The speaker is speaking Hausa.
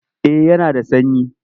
Eh yana da sanyi.